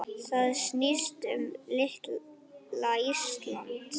Það snýst um litla Ísland.